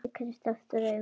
Ég kreisti aftur augun.